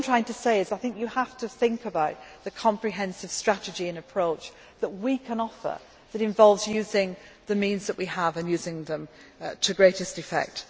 them. What I am trying to say is that I think you have to think about the comprehensive strategy and approach that we can offer that involves using the means that we have and using them to greatest effect.